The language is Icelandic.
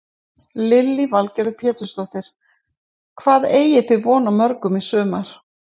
Lillý Valgerður Pétursdóttir: Hvað eigið þið von á mörgum í sumar?